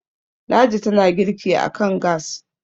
ladi tana girki a kan gas